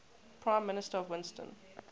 prime minister winston